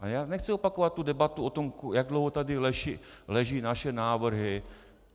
A já nechci opakovat tu debatu o tom, jak dlouho tady leží naše návrhy.